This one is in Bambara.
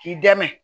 K'i dɛmɛ